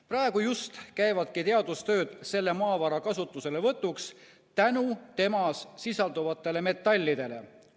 Praegu just käivadki teadustööd selle maavara kasutuselevõtuks tänu temas sisalduvatele metallidele.